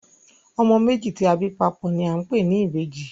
Ọmọ méjì tí a bí papò ni a ń pè ní ìbejì